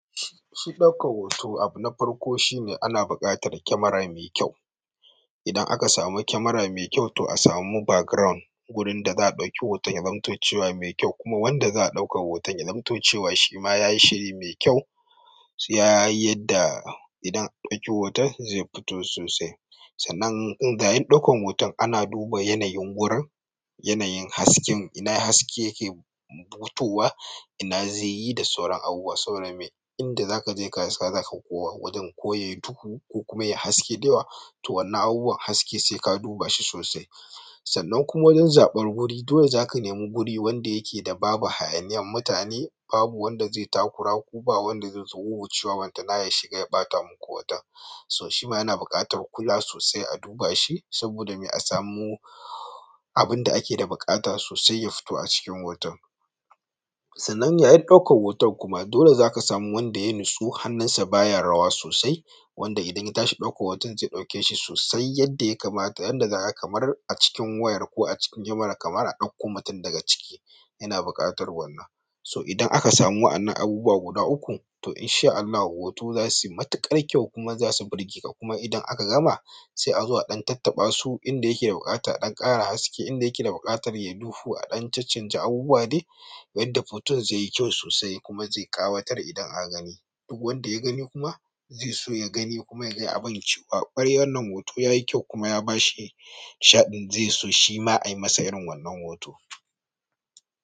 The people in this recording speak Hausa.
Shi ɗaukan hoto abu na farko shine ana buƙatar kyamara mai kyau. Idan aka samu kyamara me kyau to a samu background gurin da za a ɗauki hoton ya zamto cewa me kyau kuma wanda za a ɗauka hoton ya zamto cewa shima yayi shiri me kyau. Ya yi yadda idan an ɗauki hoton zai fito sosai. Sannan inda yayin ɗaukan hoton ana duba yanayin gurin, yanayin hasken, ina haske yake butowa, ina zai yi da sauran abubuwa. Saboda me? Inda zaka je kasuwa za ka koma wajen koyayi duhu ko kuma yayi haske da yawa to wannan abubuwan haske sai ka duba shi sosai. Sannan kuma wajen zaɓar guri dole zaka nemi guri wanda yake da babu hayaniyan mutane, babu wanda zai takura ku ba wanda zaizo wuwwucewa balantana ya shiga ya ɓata muku hoton. So shima yana buƙatar kula sosai a duba shi saboda me a samu abinda ake da buƙata sosai ya fito a cikin hoton. Sannan yayin ɗaukar hoton kuma dole zaka samu wanda ya nutsu hannunsa baya rawa sosai wanda idan ya tashi ɗaukar hoton zai ɗauke shi sosai yadda ya kamata. Yanda zaka ga kamar acikin wayar ko acikin kyamarar kamar a ɗauko mutum daga ciki yana buƙatar wannan. So idan aka samu wa'annan abubuwa guda uku to in sha Allahu hoto za suyi matuƙar kyau kuma za su birgeka kuma idan aka gama sai a zo a ɗan tattaɓa su inda yake da buƙatar a ɗan ƙara haske, inda yake da buƙatar yayi duhu a dan cancanja abubuwa dai yadda foton zai yi kyau sosai kuma zai ƙawatar idan aka gani. Duk wanda ya gani kuma zaiso ya gani kuma yaga abun yace fa ƙwarai wannan hoto yayi kyau kuma ya bashi nishaɗin zai so shima ai masa irin wannan hoto.